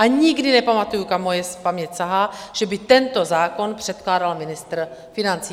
A nikdy nepamatuji, kam moje paměť sahá, že by tento zákon předkládal ministr financí.